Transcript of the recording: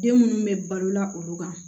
Den minnu bɛ balola olu kan